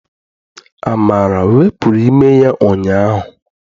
Amara wepụrụ ime ya ụnyaahụ.